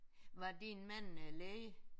Var din mand øh læge?